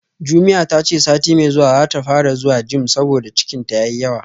Jumia tace sati mai zuwa zata fara zuwa gym saboda cikinta yayi yawa